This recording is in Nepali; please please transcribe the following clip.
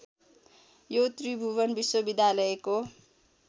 यो त्रिभुवन विश्वविद्यालयको